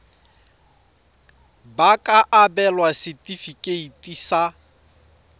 ba ka abelwa setefikeiti sa